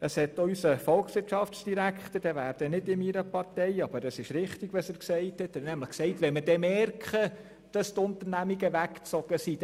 Auch unser Volkswirtschaftsdirektor, der nicht meiner Partei angehört, hat gesagt, es sei dann wahrscheinlich zu spät, wenn wir merkten, dass die Unternehmungen weg sind.